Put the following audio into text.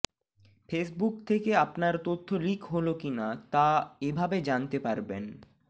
Facebook থেকে আপনার তথ্য লিক হল কিনা তা এভাবে জানতে পারবেন